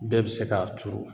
Bɛɛ bɛ se k'a turu